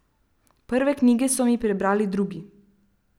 Prve knjige so mi prebrali drugi.